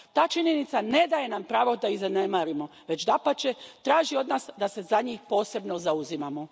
Ta činjenica ne daje nam pravo da ih zanemarimo već, dapače, traži od nas da se za njih posebno zauzimamo.